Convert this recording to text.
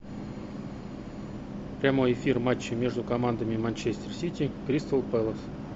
прямой эфир матча между командами манчестер сити кристал пэлас